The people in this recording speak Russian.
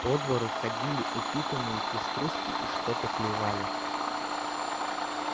по двору ходили упитанные пеструшки и что-то клевали